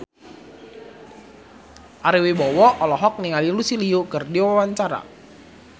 Ari Wibowo olohok ningali Lucy Liu keur diwawancara